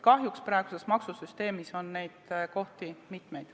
Kahjuks on praeguses maksusüsteemis neid kohti mitmeid.